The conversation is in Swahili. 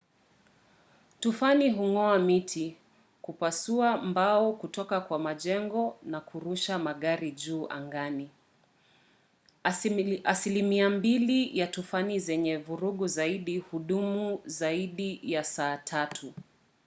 tufani hung’oa miti kupasua mbao kutoka kwa majengo na kurusha magari juu angani. asilimia mbili ya tufani zenye vurugu zaidi hudumu kwa zaidi ya saa tatu